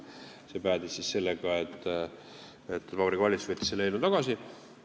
See päädis sellega, et Vabariigi Valitsus võttis selle eelnõu tagasi.